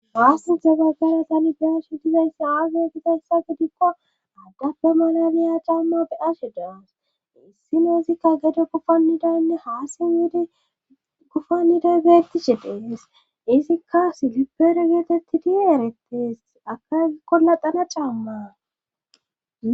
Haasi ze gaggara san be ashi dizayssa aage gidayssa gidikko agdappe malaliya caamma be ashe daas issinoezikka gedo gufannidaynne haasinyidi gufanniday beettiche dees izikka silipeere geetetti die erettees akagi kola xana caamma